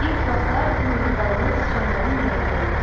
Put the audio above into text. İlk vaxtlar bu mehribanlıq siçanların ürəyindən idi.